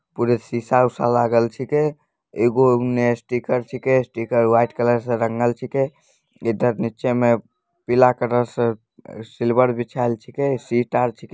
पूरा शीशा-उषा लागल छींके एगो उने स्टीकर छींके स्टीकर व्हाइट कलर से रंगल छींके एते नीचे में पीला कलर से सिल्वर बिछेल छींके